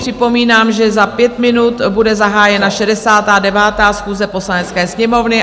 Připomínám, že za pět minut bude zahájena 69. schůze Poslanecké sněmovny.